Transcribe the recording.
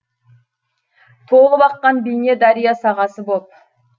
толып аққан бейне дария сағасы боп